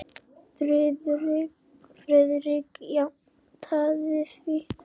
Friðrik játaði því.